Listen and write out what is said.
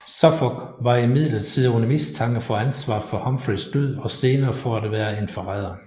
Suffolk var imidlertid under mistanke for ansvaret for Humphreys død og senere for at være en forræder